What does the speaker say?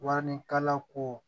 Warikalanko